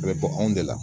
A bɛ bɔ anw de la